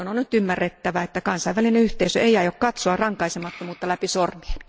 Johdon on nyt ymmärrettävä, että kansainvälinen yhteisö ei aio katsoa rankaisemattomuutta läpi sormien.